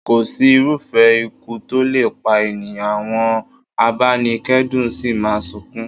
Kò sí irúfẹ́ ikú tó lè pa ènìyàn, àwọn abanikedun sì máa sunkún.